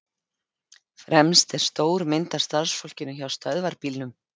Fremst er stór mynd af starfsfólkinu hjá Stöðvarbílum.